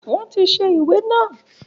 Wọn tí ṣe ìwé naa